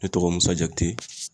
Ne tɔgɔ MUSA JAKITE.